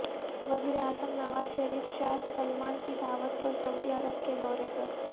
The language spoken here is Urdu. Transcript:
وزیراعظم نواز شریف شاہ سلمان کی دعوت پر سعودی عرب کے دورے پر